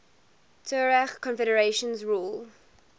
tuareg confederations ruled